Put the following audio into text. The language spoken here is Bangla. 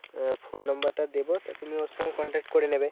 আহ phone number টা দেবো তা তুমি ওর সঙ্গে contact করে নেবে।